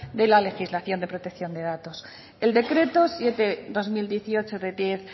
de la legislación de la protección de datos el decreto siete barra dos mil dieciocho de diez